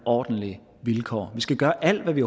ordentlige vilkår vi skal gøre alt hvad vi